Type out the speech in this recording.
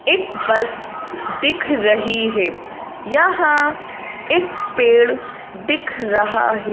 एक बस दिख रही है यहां एक पेड़ दिख रहा है।